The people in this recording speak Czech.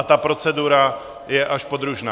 A ta procedura je až podružná.